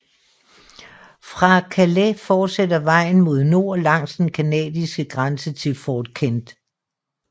Fra Calais fortsætter vejen mod nord langs den canadiske grænse til Fort Kent